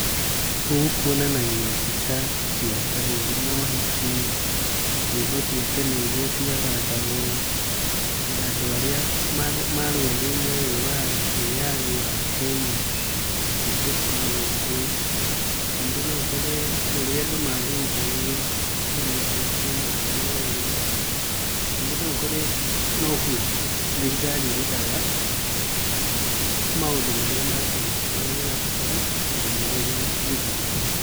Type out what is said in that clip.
Gũkũ kuonanagio mbica cia ta rĩngĩ mohiki, nyĩmbo cia tene iria ciathakagwo, andũ arĩa marũĩrĩire wĩathi wa Kenya, nĩcio cikoragwo kuo, ningĩ no ũkore ũrĩa andũ maruithagio, kou nĩkuo cionanagio wega, ningĩ no ũkore nokuo thirikari ĩrutaga maũndũ marĩa ma tene marĩa marabatara ndũmĩrĩri njiganu.